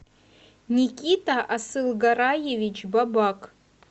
никита асылгараевич бабак